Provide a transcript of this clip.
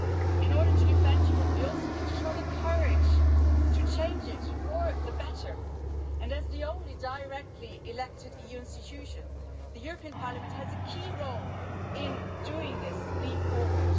In order to defend Europe we also need to show the courage to change it for the better and, as the only directly elected EU institution, the European Parliament has a key role in making this leap forward.